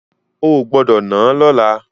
Ò gbọ́dọ̀ náà lọ́la!